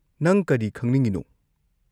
ꯅꯪ ꯀꯔꯤ ꯈꯪꯅꯤꯡꯉꯤꯅꯣ?